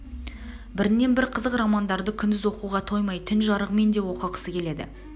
бірнен бір қызық романдарды күндіз оқуға тоймай түн жарығымен де оқығысы келеді